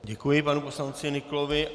Děkuji panu poslanci Nyklovi.